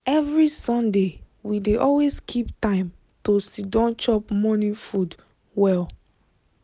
every sunday we dey always keep time to siddon chop morning food well.